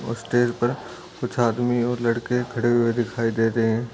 और स्टेज पे कुछ आदमी और लड़के खड़े हुए दिखाई दे रहे हैं।